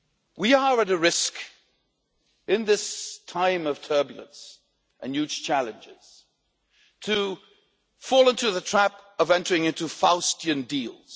We are at a risk, in this time of turbulence and huge challenges, of falling into the trap of entering into Faustian deals.